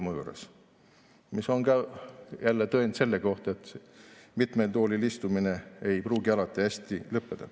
See on jälle tõend selle kohta, et mitmel toolil istumine ei pruugi alati hästi lõppeda.